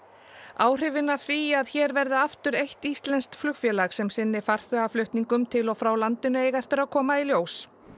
áhrifin af því að hér verði aftur eitt íslenskt flugfélag sem sinni farþegaflutningum til og frá landinu eiga eftir að koma í ljós